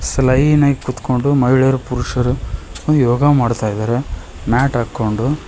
ಸ್ ಲೈನ್ ಆಗಿ ಕೂತ್ಕೊಂಡು ಮಹಿಳೆಯರು ಪುರುಷರು ಯೋಗ ಮಾಡ್ತಾ ಇದಾರೆ ಮ್ಯಾಟ್ ಹಾಕೊಂಡು.